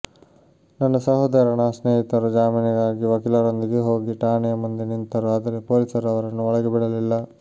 ನನ್ನ ಸಹೋದರನ ಸ್ನೇಹಿತರು ಜಾಮೀನಿಗಾಗಿ ವಕೀಲರೊಂದಿಗೆ ಹೋಗಿ ಠಾಣೆಯ ಮುಂದೆ ನಿಂತರು ಆದರೆ ಪೊಲೀಸರು ಅವರನ್ನು ಒಳಗೆ ಬಿಡಲಿಲ್ಲ